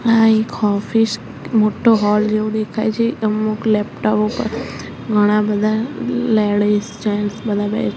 આ એક ઑફિસ મોટ્ટો હૉલ જેવુ દેખાય છે અમુક લેપ્ટાઓ ઉપર ઘણા બધા લેડીઝ જેન્ટ્સ બધા બે--